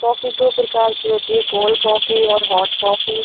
Coffee दो प्रकार की होती है कोल्ड कॉफी और हॉट कॉफी ।